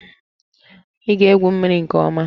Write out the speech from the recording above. Ị ga-egwu mmiri nke ọma!